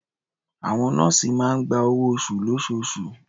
Àwọn nọ́ọ̀sì máa ń gba owó-oṣù lóṣooṣù.